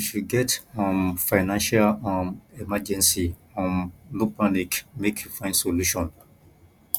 if you get um financial um emergency um no panic make you find solution